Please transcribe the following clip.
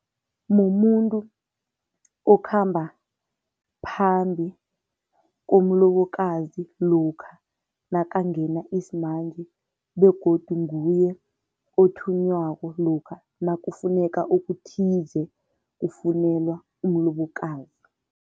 Mumuntu okhamba phambi komlobokazi lokha nakangena isimanje begodu nguye othunywako lokha nakufuneka okuthize, kufunelwa umlobokazi.